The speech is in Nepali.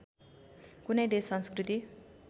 कुनै देश संस्कृति